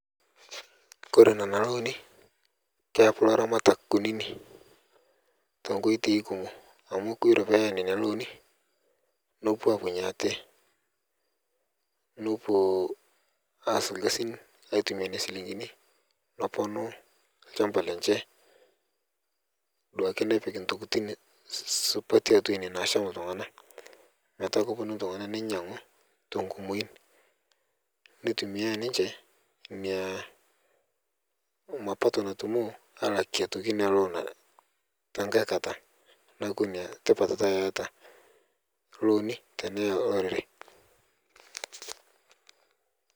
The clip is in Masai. Kore nenia looni keapu laramatak kunini tenkotei kumo amu kore peya nenia looni nopuo apunye ate nopuo aas lkasin aitumia nenia silingini noponu lshamba lenche duake nepik ntokitin supati atua ine nasham ltungana metaa koponu ltungana nenyangu tonkumoin neitumia ninche nia mapato natumo alakie aitoki nia loon tankae kata naaku nia tipat taa eata looni teneya lorere